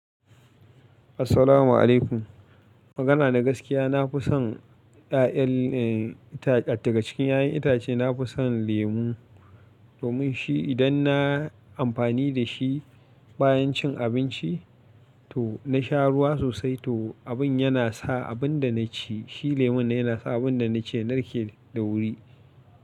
Assalamu alaikum. Magana na gaskiya, na fi son ɗaƴan ita-- daga cikin ƴaƴan itace, na fi son lemu domin shi idan na, amfani da shi. Bayan cin abinci, to na sha ruwa sosai, to abin yana sa abin da na ci, shi lemon nan yana sa abin da na ci, ya narke da wuri.